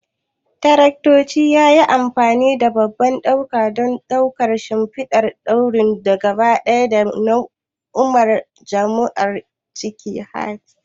Daraktoci yayi amfani da babban ɗauka don ɗaukar shimfidar wuri gaba ɗaya da mu'amalar jarumai a cikin mahalli.